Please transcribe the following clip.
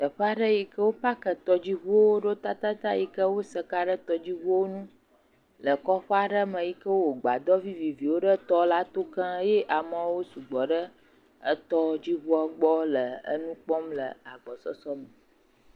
Teƒe aɖe yi ke wo parki tɔdziŋuwo ɖo yi ke wosa ka ɖe tɔdziŋuwo ŋu le kɔƒe aɖe me yi ke wowɔ agbadɔ viviviwo ɖe tɔ la to gã eye amewo su gbɔ ɖe etɔdziŋua gbɔ le nu kpɔm le agbɔsusu me.